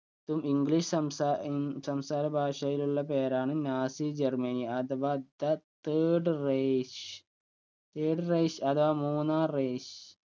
ക്കും english സംസാ ഇങ് സംസാര ഭാഷയിലുള്ള പേരാണ് നാസി ജർമ്മനി അഥവാ the third rich third rich അഥവാ മൂന്നാം reich